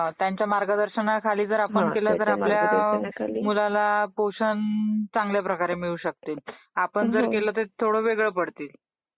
हां! त्यांच्या मार्गदर्शनाखाली जर आपण केलं ping conversation तर आपल्या मुलाला पोषण चांगल्या प्रकारे मिळू शकते. आपण जर केल तर ते थोड वेगळ पडते.